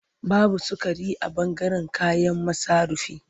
Babu sukari a ɓangaren kayan masarufi.